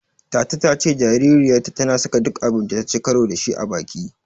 Tata ta ce jaririyarta tana saka duk abun da taci karo da shi a baki.